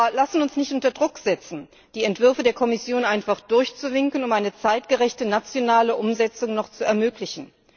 Wir lassen uns nicht unter Druck setzen, die Entwürfe der Kommission einfach durchzuwinken, um noch eine zeitgerechte nationale Umsetzung zu ermöglichen.